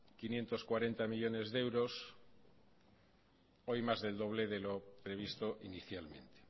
quinientos cuarenta millónes de euros hoy más del doble de lo previsto inicialmente